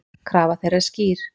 Krafa þeirra er skýr.